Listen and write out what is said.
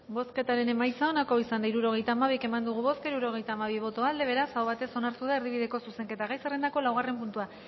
bozketaren emaitza onako izan da hirurogeita hamabi eman dugu bozka hirurogeita hamabi boto aldekoa beraz aho batez onartu da erdibideko zuzenketa gai zerrendako laugarren puntua